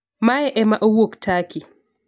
Mae ema owuok Turkey